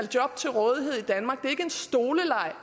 job til rådighed i danmark en stoleleg